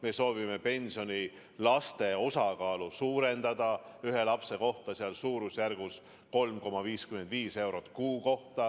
Me soovime pensioni puhul enam arvestada laste kasvatamist ja suurendame ühe lapse eest makstavat summat 3,55 euro võrra kuus.